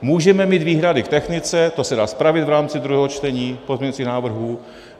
Můžeme mít výhrady k technice - to se dá spravit v rámci druhého čtení pozměňujících návrhů.